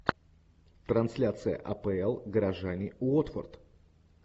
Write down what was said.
трансляция апл горожане уотфорд